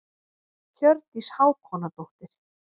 Hjördís Hákonardóttir.